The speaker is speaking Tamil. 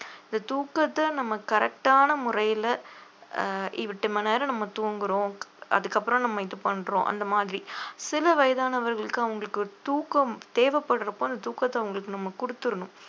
இந்த தூக்கத்தை நம்ம correct ஆன முறையிலே அஹ் எட்டு மணி நேரம் நம்ம தூங்குறோம் அதுக்கப்புறம் நம்ம இது பண்றோம் அந்த மாதிரி சில வயதானவர்களுக்கு அவங்களுக்கு ஒரு தூக்கம் தேவைப்படுறதப்போ அந்த தூக்கத்தை அவங்களுக்கு நம்ம குடுத்தரனும்